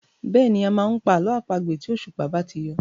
Bẹ́ẹ̀ni, a máa ń pa àlọ́ àpagbè tí òṣùpá bá ti yọ.